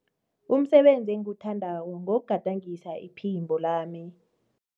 Umsebenzi engiwuthandako ngewokugadangisa iphimbo lami.